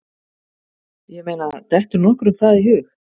Ég meina, dettur nokkrum það í hug?